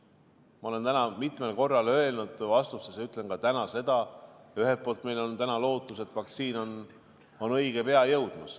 Ma olen täna mitmel korral öelnud ja ütlen ka nüüd: ühelt poolt on meil täna lootus, et vaktsiin jõuab õige pea.